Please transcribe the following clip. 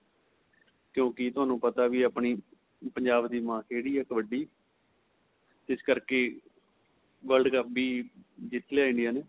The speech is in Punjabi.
ਕਿਉਂਕਿ ਤੁਹਾਨੂੰ ਪਤਾ ਵੀ ਆਪਣੀ ਪੰਜਾਬ ਦੀ ਮਹਾਂਖੇਡ ਏ ਕਬੱਡੀ ਜਿਸ ਕਰਕੇ world cup ਵੀ ਜਿੱਤ ਲਿਆ India ਨੇ